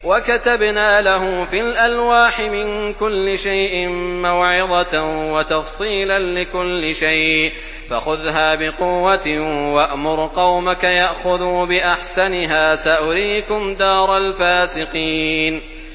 وَكَتَبْنَا لَهُ فِي الْأَلْوَاحِ مِن كُلِّ شَيْءٍ مَّوْعِظَةً وَتَفْصِيلًا لِّكُلِّ شَيْءٍ فَخُذْهَا بِقُوَّةٍ وَأْمُرْ قَوْمَكَ يَأْخُذُوا بِأَحْسَنِهَا ۚ سَأُرِيكُمْ دَارَ الْفَاسِقِينَ